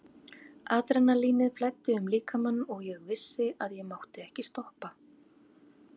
Adrenalínið flæddi um líkamann og ég vissi að ég mátti ekki stoppa.